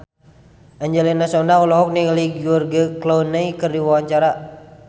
Angelina Sondakh olohok ningali George Clooney keur diwawancara